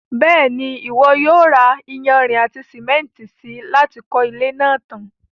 Bẹ́ẹ̀ni, Ìwọ yóò ra iyanrìn àti sìmẹ́ntì si láti kọ́ ilé náà tan.